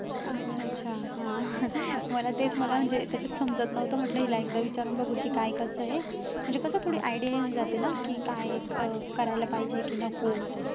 अच्छा अच्छा हं मला तेच मला म्हणजे त्याच्यात समजत नव्हतं म्हटलं हिला एकदा विचारून बघू की काय कसं आहे म्हणजे कसं थोडी idea येऊन जाते ना की काय अं करायला पाहिजे की नको